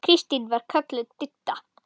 Kristín var kölluð Didda.